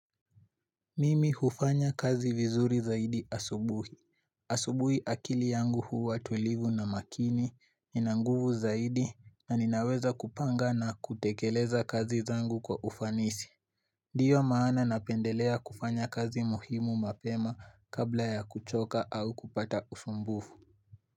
Mimi hufanya kazi vizuri zaidi asubuhi. Asubuhi akili yangu huwa tulivu na makini, ina nguvu zaidi na ninaweza kupanga na kutekeleza kazi zangu kwa ufanisi. Ndiyo maana napendelea kufanya kazi muhimu mapema kabla ya kuchoka au kupata usumbufu.